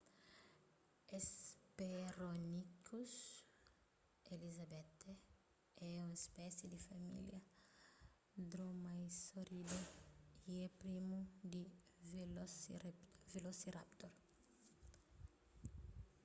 hesperonychus elizabethae é un spési di família dromaeosauridae y é primu di velociraptor